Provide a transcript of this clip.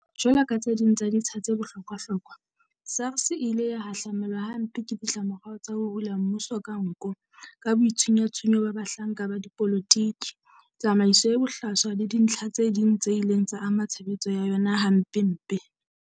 Jwalo ka tse ding tsa ditsha tse bohlokwahlokwa, SARS e ile ya hahlamelwa hampe ke ditlamorao tsa ho hula mmuso ka nko, ka boitshunyatshunyo ba bahlanka ba dipolotiki, tsamaiso e bohlaswa le dintlha tse ding tse ileng tsa ama tshebetso ya yona hampempe.